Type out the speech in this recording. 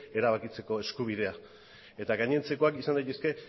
erabakitzeko eskubidea eta gainontzekoak izan daitezke